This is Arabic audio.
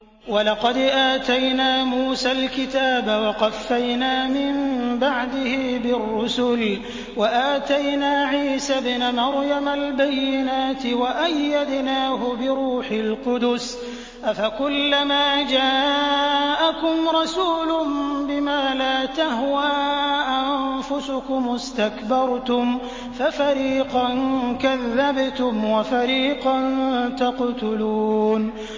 وَلَقَدْ آتَيْنَا مُوسَى الْكِتَابَ وَقَفَّيْنَا مِن بَعْدِهِ بِالرُّسُلِ ۖ وَآتَيْنَا عِيسَى ابْنَ مَرْيَمَ الْبَيِّنَاتِ وَأَيَّدْنَاهُ بِرُوحِ الْقُدُسِ ۗ أَفَكُلَّمَا جَاءَكُمْ رَسُولٌ بِمَا لَا تَهْوَىٰ أَنفُسُكُمُ اسْتَكْبَرْتُمْ فَفَرِيقًا كَذَّبْتُمْ وَفَرِيقًا تَقْتُلُونَ